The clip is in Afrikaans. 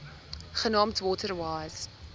genaamd water wise